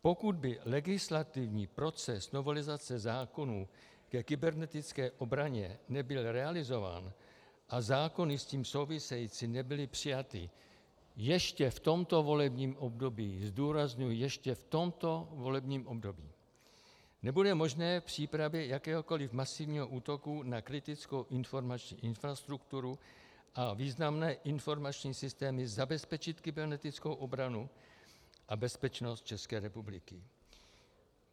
Pokud by legislativní proces novelizace zákonů ke kybernetické obraně nebyl realizován a zákony s tím související nebyly přijaty ještě v tomto volebním období - zdůrazňuji, ještě v tomto volebním období -, nebude možné v přípravě jakéhokoli masivního útoku na kritickou informační infrastrukturu a významné informační systémy zabezpečit kybernetickou obranu a bezpečnost České republiky.